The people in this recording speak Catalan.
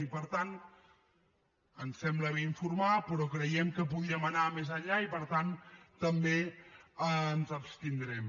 i per tant ens sembla bé informar però creiem que podíem anar més enllà i per tant també ens abstindrem